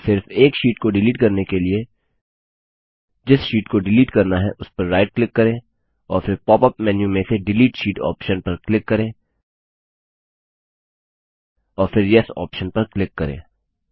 सिर्फ एक शीट को डिलीट करने के लिए जिस शीट को डिलीट करना है उस पर राइट क्लिक करें और फिर पॉप अप मेन्यू में से डिलीट शीट ऑप्शन पर क्लिक करें और फिर येस ऑप्शन पर क्लिक करें